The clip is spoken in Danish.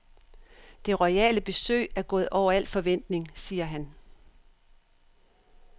Det royale besøg er gået over al forventning, siger han.